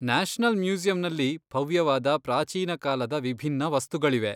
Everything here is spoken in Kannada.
ನ್ಯಾಷನಲ್ ಮ್ಯೂಸಿಯಂನಲ್ಲಿ ಭವ್ಯವಾದ ಪ್ರಾಚೀನ ಕಾಲದ ವಿಭಿನ್ನ ವಸ್ತುಗಳಿವೆ.